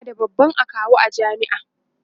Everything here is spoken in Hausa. ana da babban akawu a jami'a